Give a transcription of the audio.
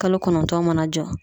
Kalo kɔnɔntɔn mana jɔ.